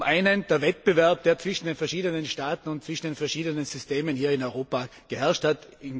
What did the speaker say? Zum einen der Wettbewerb, der zwischen den verschiedenen Staaten und zwischen den verschiedenen Systemen hier in Europa geherrscht hat